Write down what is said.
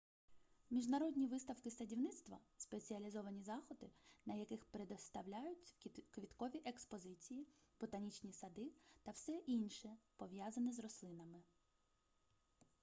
міжнародні виставки садівництва спеціалізовані заходи на яких представляють квіткові експозиції ботанічні сади та все інше пов'язане з рослинами